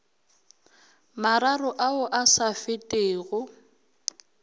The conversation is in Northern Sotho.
mararo ao a sa fetego